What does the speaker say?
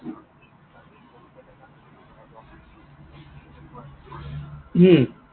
হম